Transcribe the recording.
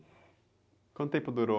Quanto tempo durou?